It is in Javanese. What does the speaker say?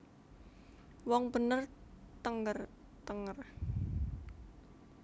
Wong bener thenger thenger